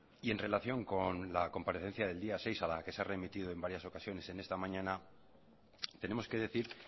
y en relación con la comparecencia del día seis a la que se ha remitido en varias ocasiones en esta mañana tenemos que decir